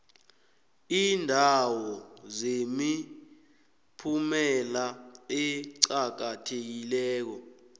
iindawo zemiphumela eqakathekileko